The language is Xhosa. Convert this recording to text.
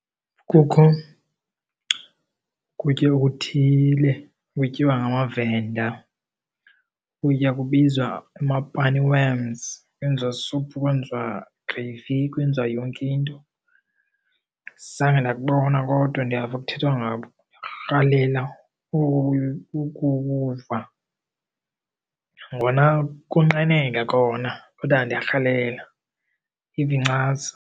Kukho ukutya okuthile okutyiwa ngamaVenda, ukutya kubizwa amapani worms. Kwenziwa suphu, kwenziwa gravy, kwenziwa yonke into. Zange ndakubona kodwa ndiyava kuthethwa ngako. Ndirhalela ukuwuva nangona konqeneka kona kodwa ndiyarhalela ndive incasa.